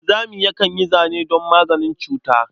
Wanzami yakan yi zane don maganin cuta.